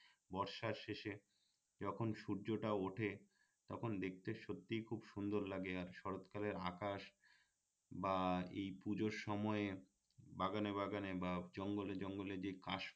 বর্ষার শেষে যখন সূর্যটা উঠে তখন দেখতে সত্যিই খুব সুন্দর লাগে আর শরৎ কালের আকাশ বা এই পুজোর সময়ে বাগানে বাগানে বা জঙ্গলে জঙ্গলে যে কাশ